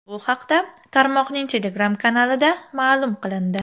Bu haqda tarmoqning Telegram kanalida maʼlum qilindi.